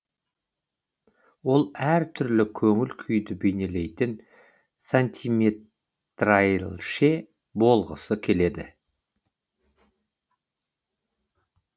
ол әр түрлі көңіл күйді бейнелейтін сантиметрайлше болғысы келеді